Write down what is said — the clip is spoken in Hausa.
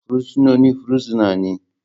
Fursunonin fursuna ne.